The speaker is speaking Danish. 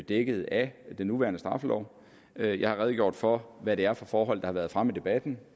dækket af den nuværende straffelov jeg jeg har redegjort for hvad det er for forhold der har været fremme i debatten